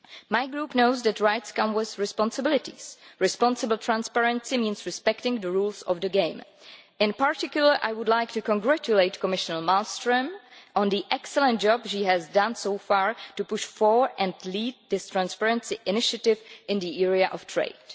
My Group knows that rights come with responsibilities responsible transparency means respecting the rules of the game. In particular, I would like to congratulate Commissioner Malmström on the excellent job she has done so far to push for, and lead, this transparency initiative in the area of trade.